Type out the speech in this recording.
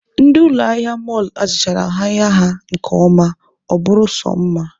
Ndị ụlọ ahịa mọlụ hazichara ahịa ha nke ọma, ọ bụrụ sọ mma.